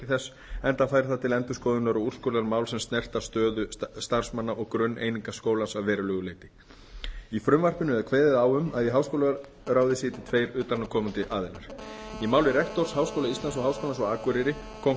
þess enda fær það til endurskoðunar og úrskurðar mál sem snerta stöðu starfsmanna og grunneiningar skólans að verulegu leyti í frumvarpinu er kveðið á um að í háskólaráði sitji tveir utanaðkomandi aðilar í máli rektora háskóla íslands og háskólans á akureyri kom